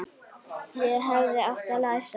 Ég hefði átt að læsa.